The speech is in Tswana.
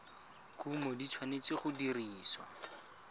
kumo di tshwanetse go dirisiwa